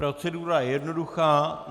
Procedura je jednoduchá.